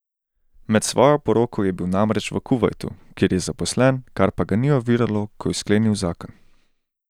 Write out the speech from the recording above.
Med svojo poroko je bil namreč v Kuvajtu, kjer je zaposlen, kar pa ga ni oviralo, ko je sklenil zakon.